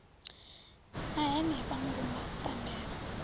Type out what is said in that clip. ṋna henefha murumba u ṱambela